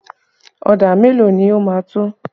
Ọ̀dà mélòó ni ó máa tó?